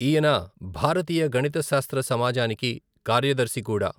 ఈయన భారతీయ గణిత శాస్త్ర సమాజానికి కార్యదర్శి కూడా.